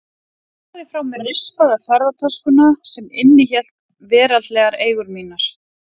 Ég lagði frá mér rispaða ferðatöskuna sem innihélt veraldlegar eigur mínar.